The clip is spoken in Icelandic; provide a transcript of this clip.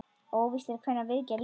Óvíst er hvenær viðgerð lýkur.